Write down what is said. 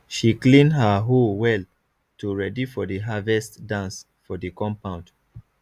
she clean her hoe well to ready for the harvest dance for the compound